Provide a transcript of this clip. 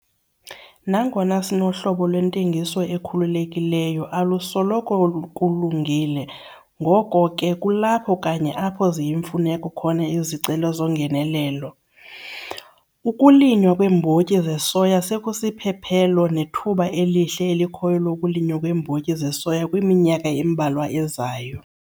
Nangona sinohlobo lwentengiso ekhululekileyo, alusoloko kulungile, ngoko ke kulapho kanye apho ziyimfuneko khona izicelo zongenelelo. Ukulinywa kweembotyi zesoya sekusiphephelo nethuba elihle elikhoyo lokulinywa kweembotyi zesoya kwiminyaka embalwa ezayo.